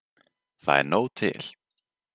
Það er nóg til.